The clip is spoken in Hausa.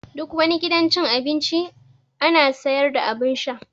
Duk wani gidan cin abinci ana sayar da abun sha